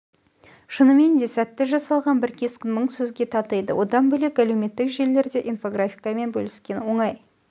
шынымен де сәтті жасалған бір кескін мың сөзге татиды одан бөлек әлеуметтік желілерде инфографикамен бөліскен оңай